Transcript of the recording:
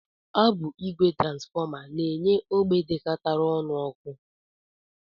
Ọ bụ ìgwè transfọma na-enye ógbè dịkọtara ọnụ ọkụ